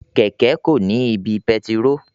Kẹkẹ ko ni ibi pẹtiró.